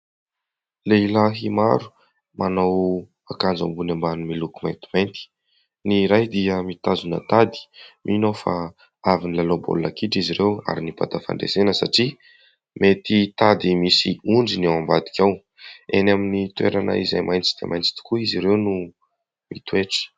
Lehilahy maro manao akanjo ambony ambany miloko maintimainty , ny iray dia mitazona tady ; mino aho fa avy nilalao baolina kitra izy ireo ary nibata fandresena satria mety tady misy ondry ny ao ambadika ao, eny amin'ny toerana izay maitso dia maintso tokoa izy ireo no mitoetra.